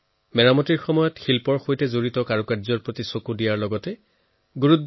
মেৰামতিৰ সময়ত শৈল্পিক খুঁটিনাটিক উপযুক্তভাৱে গুৰুত্ব দিয়া হৈছে বুলি জুৰীয়ে মত প্ৰকাশ কৰিছিল